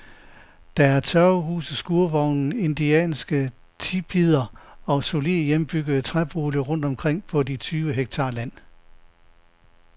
Der er tørvehuse, skurvogne, indianske tipier og solide, hjemmebyggede træboliger rundt omkring på de tyve hektar land.